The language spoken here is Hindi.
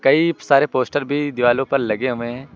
कई सारे पोस्टर भी दिवालो पर लगे हुए हैं।